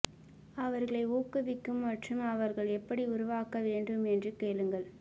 அவர்களை ஊக்குவிக்கும் மற்றும் அவர்கள் எப்படி உருவாக்க வேண்டும் என்று கேளுங்கள்